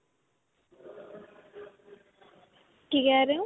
ਕਿ ਕਹਿ ਰਹੇ ਹੋ?